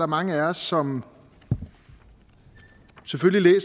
mange af os som selvfølgelig